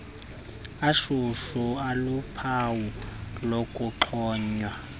ashushu aluphawu lokuxhonywa